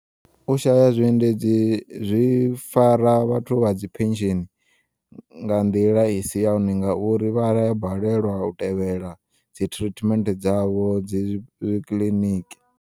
U shaya zwi endedzi zwi fara vhathu vhadzi phensheni nga nḓila isi yone, ngauri vhaya balelwa u tevhela dzi treatment dzavho dzi kiḽiniki.